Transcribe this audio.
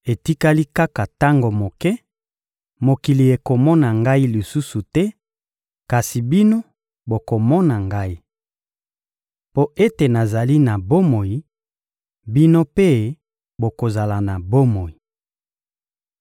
Etikali kaka tango moke, mokili ekomona Ngai lisusu te; kasi bino, bokomona Ngai. Mpo ete nazali na bomoi, bino mpe bokozala na bomoi.